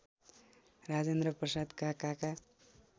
राजेन्द्र प्रसादका काका